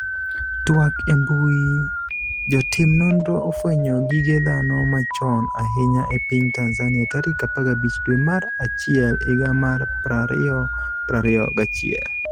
twak e mbui, Jotim nonro ofwenyo gige dhano machon ahinya e piny Tanzania tarik 15 dwe mar achiel higa mar 2021